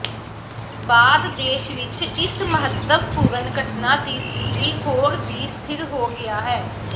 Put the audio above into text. ਬਾਅਦ ਦੇਸ਼ ਵਿਚ ਇਸ ਮਹੱਤਵਪੂਰਣ ਘਟਨਾ ਦੀ ਸਥਿਤੀ ਹੋਰ ਵੀ ਸਥਿਰ ਹੋ ਗਿਆ ਹੈ